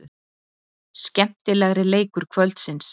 Skemmtilegri leikur kvöldsins.